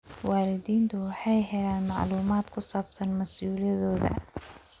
Waalidiintu waxay helaan macluumaad ku saabsan mas'uuliyadooda.